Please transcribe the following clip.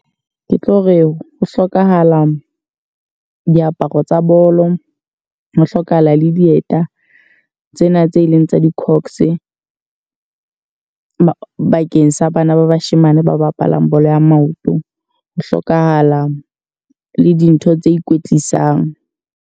Ke tlo re ho hlokahala diaparo tsa bolo, ho hlokahala le dieta tsena tse leng tsa di-cox. Bakeng sa bana ba bashemane ba bapalang bolo ya maoto. Ho hlokahala le dintho tse ikwetlisang.